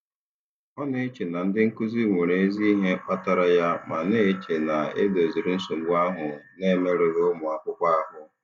Ọ na-eche na ndị nkuzi nwere ezi ihe kpatara ya ma na-eche na e doziri nsogbu ahụ na-emerụghị ụmụakwụkwọ ahụ.